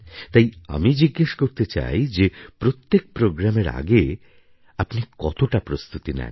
তাই আমি জিজ্ঞেস করতে চাই যে প্রত্যেক প্রোগ্রামের আগে আপনি কতটা প্রস্তুতি নেন